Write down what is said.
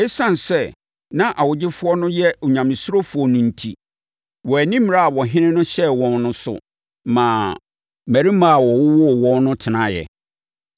Esiane sɛ na awogyefoɔ no yɛ onyamesurofoɔ no enti, wɔanni mmara a ɔhene no hyɛɛ wɔn no so maa mmarimaa a wɔwowoo wɔn no tenaeɛ.